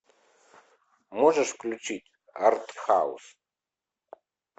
можешь включить арт хаус